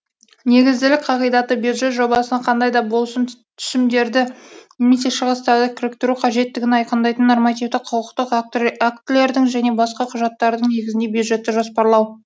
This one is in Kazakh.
негізділік қағидаты бюджет жобасына кандай да болсын түсімдерді немесе шығыстарды кіріктіру қажеттігін айқындайтын нормативтік құқықтық актілердің және басқа құжаттардың негізінде бюджетті жоспарлау